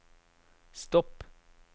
stopp